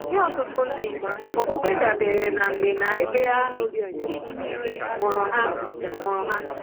Nye ọtụtụ ndị, okpukpe dabeere na mgbe na ebe a mụrụ ha. mụrụ ha.